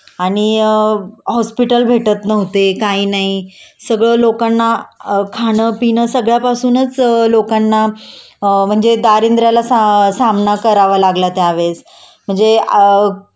आणि अ हॉस्पिटल भेटत नव्हते काय नाही.सगळं लोकांना खाण पिणं सगळ्यापासूनच लोकांना अ म्हणजे दारिद्रयाला सामना करावा लागला त्यावेळेस